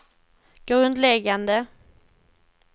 grundläggande